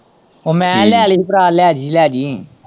ਉਹ ਮੈਂ ਲੈ ਲਈ ਸੀ ਭਰਾ ਲੈਜੀ-ਲੈਜੀ।